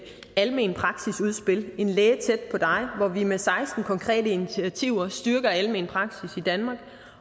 almen praksis udspillet en læge tæt på dig hvor vi med seksten konkrete initiativer styrker almen praksis i danmark